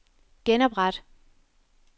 genopret